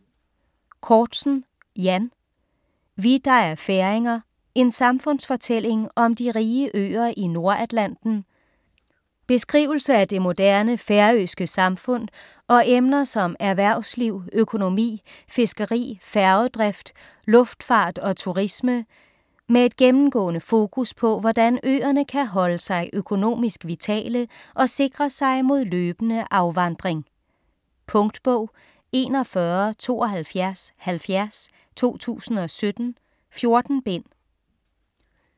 Cortzen, Jan: Vi, der er færinger: en samfundsfortælling om de rige øer i Nordatlanten Beskrivelse af det moderne færøske samfund og emner som erhvervsliv, økonomi, fiskeri, færgedrift, luftfart og turisme - med et gennemgående fokus på hvordan øerne kan holdes sig økonomisk vitale og sikre sig mod løbende afvandring. Punktbog 417270 2017. 14 bind.